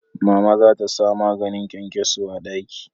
Mama za ta sa maganin kyankyaso a daki